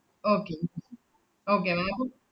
okay okay ma'am അപ്പ